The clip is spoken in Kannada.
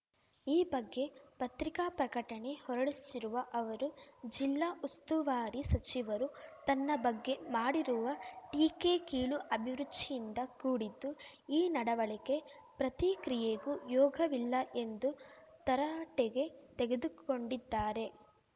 ಈ ಬಗ್ಗೆ ಪತ್ರಿಕಾ ಪ್ರಕಟಣೆ ಹೊರಡಿಸಿರುವ ಅವರು ಜಿಲ್ಲಾ ಉಸ್ತುವಾರಿ ಸಚಿವರು ತನ್ನ ಬಗ್ಗೆ ಮಾಡಿರುವ ಟೀಕೆ ಕೀಳು ಅಭಿರುಚಿಯಿಂದ ಕೂಡಿದ್ದು ಈ ನಡವಳಿಕೆ ಪ್ರತಿಕ್ರಿಯೆಗೂ ಯೋಗವಿಲ್ಲ ಎಂದು ತರಾಟೆಗೆ ತೆಗೆದುಕೊಂಡಿದ್ದಾರೆ